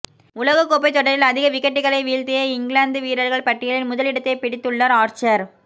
உலகக்கோப்பை தொடரில் அதிக விக்கெட்டுகளை வீழ்த்திய இங்கிலாந்து வீரர்கள் பட்டியலில் முதலிடத்தை பிடித்துள்ளார் ஆர்ச்சர்